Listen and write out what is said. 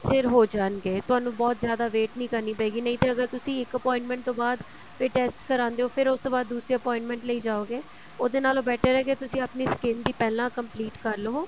ਸਿਰ ਹੋ ਜਾਣਗੇ ਤੁਹਾਨੂੰ ਬਹੁਤ ਜਿਆਦਾ wait ਨਹੀਂ ਕਰਨੀ ਪਏਗੀ ਨਹੀਂ ਤੇ ਅਗਰ ਤੁਸੀਂ ਇੱਕ appointment ਤੋਂ ਬਾਅਦ ਫ਼ੇਰ test ਕਰਵਾਉਦੇ ਹੋ ਫ਼ੇਰ ਉਸ ਤੋਂ ਬਾਅਦ ਦੂਸਰੀ appointment ਲਈ ਜਾਓਗੇ ਉਹਦੇ ਨਾਲੋ better ਹੈ ਕੀ ਤੁਸੀਂ ਆਪਣੀ skin ਦੀ ਪਹਿਲਾਂ complete ਕਰ ਲਵੋ